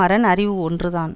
அரண் அறிவு ஒன்றுதான்